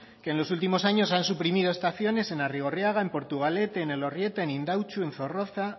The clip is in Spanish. que en los últimos años han suprimido estaciones en arrigorriaga en portugalete en elorrieta en indautxu en zorroza